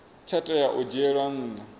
tsha tea u dzhielwa nha